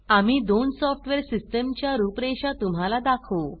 आम्ही दोन software system च्या रूपरेषा तुम्हाला दाखऊ